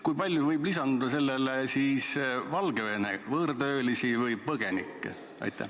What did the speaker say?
Kui palju võib sellele lisanduda Valgevene võõrtöölisi või põgenikke?